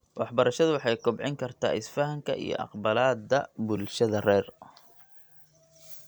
Waxbarashadu waxay kobcin kartaa isfahamka iyo aqbalaadda bulshada rer .